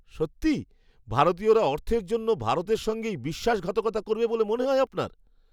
সত্যিই? ভারতীয়রা অর্থের জন্য ভারতের সঙ্গেই বিশ্বাসঘাতকতা করবে বলে মনে হয় আপনার!